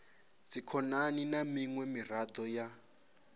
dzikhonani na miṅwe miraḓo ya